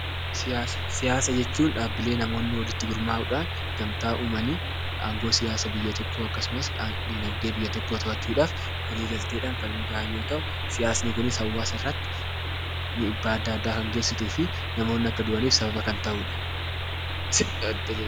Siyaasa: Siyaasa jechuun dhaabbilee namoonni walitti gurmaa'uudhaan gamtaa uumanii aangoo siyaasa biyya tokkoo akkasumas diinagdee biyya tokkoo to'achuudhaaf walii galteedhaan kan hundaa'an yoo ta'u, siyaasni kunis hawaasa irratti dhiibbaa adda addaa kan geessistuufi namoonni akka du'aniif sababa kan ta'udha.